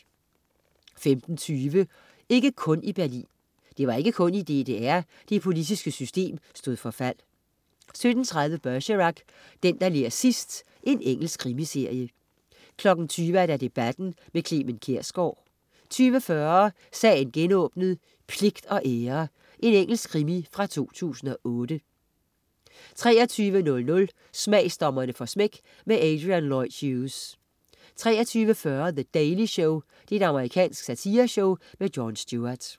15.20 Ikke kun i Berlin. Det var ikke kun i DDR, det politiske system stod for fald 17.30 Bergerac: Den, der ler sidst. Engelsk krimiserie 20.00 Debatten. Clement Kjersgaard 20.40 Sagen genåbnet: Pligt og ære. Engelsk krimi fra 2008 23.00 Smagsdommerne får smæk. Adrian Lloyd Hughes 23.40 The Daily Show. Amerikansk satireshow. Jon Stewart